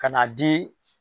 Ka na di.